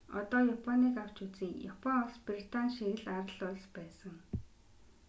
одоо японыг авч үзье япон улс британи шиг л арал улс байсан